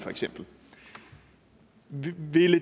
ville